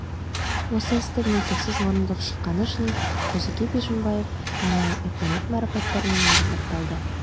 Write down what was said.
осы істі мүлтіксіз орындап шыққаны үшін қозыке бишімбаев арнайы үкімет марапаттарымен марапатталды